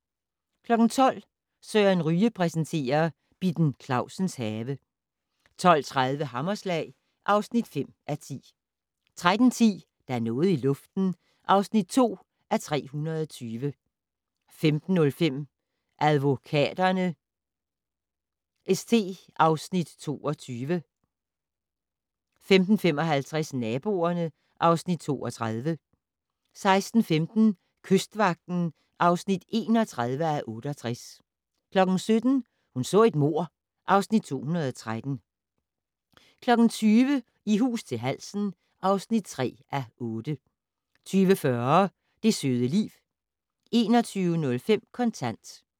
12:00: Søren Ryge præsenterer: Bitten Clausens have 12:30: Hammerslag (5:10) 13:10: Der er noget i luften (2:320) 15:05: Advokaterne st (Afs. 22) 15:55: Naboerne (Afs. 32) 16:15: Kystvagten (31:68) 17:00: Hun så et mord (Afs. 213) 20:00: I hus til halsen (3:8) 20:40: Det søde liv 21:05: Kontant